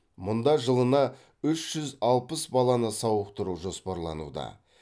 мұнда жылына үш жүз алпыс баланы сауықтыру жоспарлануда